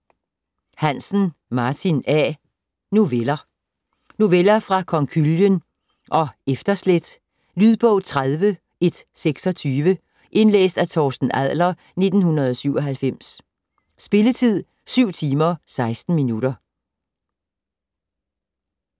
Hansen, Martin A.: Noveller Noveller fra Konkylien og Efterslæt. Lydbog 30126 Indlæst af Torsten Adler, 1997. Spilletid: 7 timer, 16 minutter.